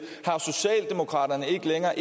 er